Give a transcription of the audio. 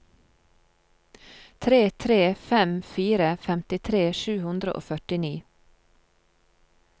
tre tre fem fire femtitre sju hundre og førtini